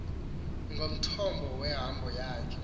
ngumthombo wehambo yakhe